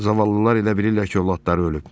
Zavallılar elə bilirlər ki, övladları ölüb.